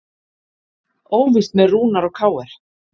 Óvíst með Rúnar og KR